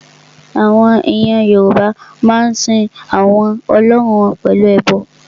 Àwọn ènìyàn Yorùbá a máa sin àwọn Ọlọ́run wọn pẹ̀lú ẹbọ